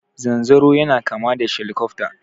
Zanzaro yana kama da shelikofta.